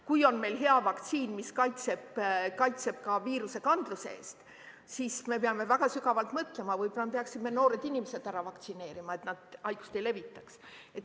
Kui on meil hea vaktsiin, mis kaitseb ka viirusekandluse eest, siis me peame väga sügavalt mõtlema, võib-olla peaksime noored inimesed ära vaktsineerima, et nad haigust ei levitaks.